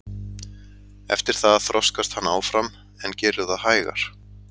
Eftir það þroskast hann áfram en gerir það hægar.